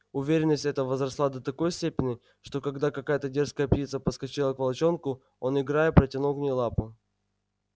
уверенность эта возросла до такой степени что когда какая-то дерзкая птица подскочила к волчонку он играя протянул к ней лапу